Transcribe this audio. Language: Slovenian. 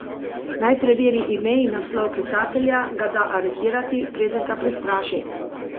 Naj preveri ime in naslov klicatelja, ga da aretirati, preden ga prestraši?